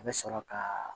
A bɛ sɔrɔ ka